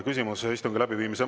Küsimus istungi läbiviimise …